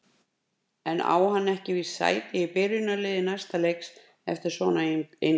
En á hann ekki víst sæti í byrjunarliði næsta leiks eftir svona innkomu?